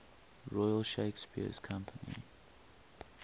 royal shakespeare company